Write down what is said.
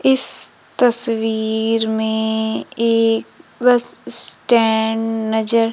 इस तस्वीर में एक ब्रश स्टैंड नजर--